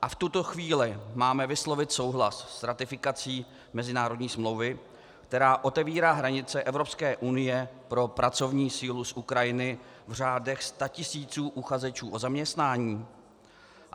A v tuto chvíli máme vyslovit souhlas s ratifikací mezinárodní smlouvy, která otevírá hranice Evropské unie pro pracovní sílu z Ukrajiny v řádech statisíců uchazečů o zaměstnání?